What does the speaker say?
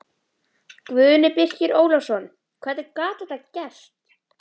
Guðni Birkir Ólafsson Hvernig gat þetta gerst?